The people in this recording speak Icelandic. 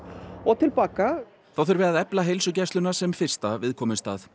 og til baka þá þurfi að efla heilsugæsluna sem fyrsta viðkomustað